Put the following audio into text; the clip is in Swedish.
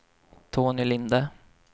Tony Linde